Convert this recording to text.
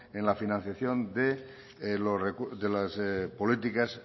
en la financiación de las políticas